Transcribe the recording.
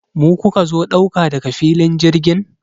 Mu kuka zo ɗauka daga filin jirgin?